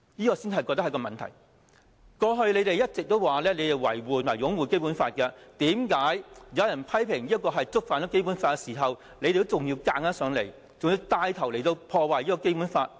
建制派議員過去一直說要維護及擁護《基本法》，為何有人批評這觸犯《基本法》的時候，他們還硬要牽頭破壞《基本法》？